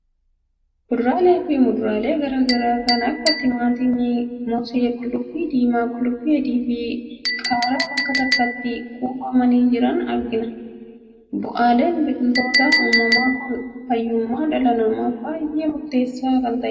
Kuduraalee fi muduraalee garaa garaa kan akka timaatimii, mosee, qullubbii diimaa, qullubbii adii fi qaaraa bakka tokkotti kuufamanii jiran argina. Bu'aaleen biqiltoota uumamaa kun fayyummaa dhalaa namaaf baay'ee murteessaa kan ta'anidha.